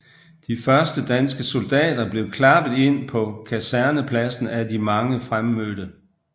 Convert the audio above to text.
De første danske soldater bliver klappet ind på kasernepladsen af de mange fremmødte